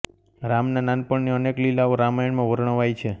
રામનાં નાનપણ ની અનેક લીલાઓ રામાયણમાં વર્ણવાઇ છે